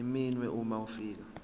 iminwe uma ufika